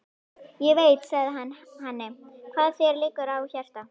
Ég veit, sagði hann henni, hvað þér liggur á hjarta